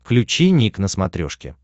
включи ник на смотрешке